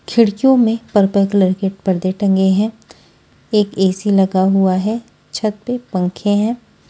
खिडकियों में purple colour के पर्दे टंगे है एक ए_सी लगा हुआ है छत पे पंखे है।